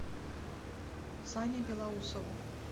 сане белоусову